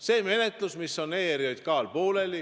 See menetlus on ERJK-l pooleli.